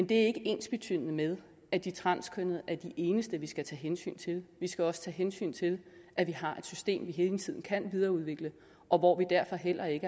det er ikke ensbetydende med at de transkønnede er de eneste vi skal tage hensyn til vi skal også tage hensyn til at vi har et system vi hele tiden kan videreudvikle og hvor vi derfor heller ikke